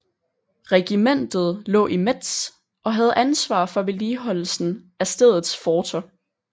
Regimentet lå i Metz og havde ansvar for vedligeholdelsen af stedets forter